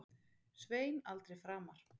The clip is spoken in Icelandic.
Svein aldrei framar.